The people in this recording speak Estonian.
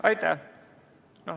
Aitäh!